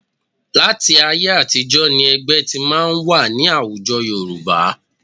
Láti ayé àtijọ́ ni ẹgbẹ́ ti máa ń wà ní àwùjọ Yorùbá